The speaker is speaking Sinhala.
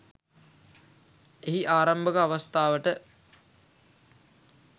එහි ආරම්භක අවස්ථාවට